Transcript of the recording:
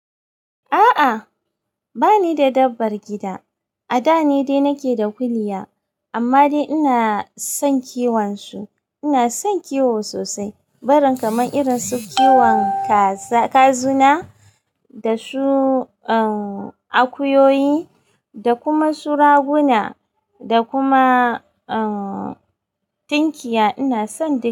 A'a, bani da dabbar gida. A da ni dai nake da kuliya amma dai ina son kiwon su. Ina son kiwo sosai, baren kamar irin su kiwon kaaza, kazuna da su, uhm akuyoyi da kuma su raguna da kuma uhm tinkiya ina son dai.